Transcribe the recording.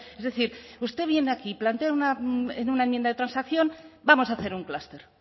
es decir usted viene aquí plantea en una enmienda de transacción vamos a hacer un clúster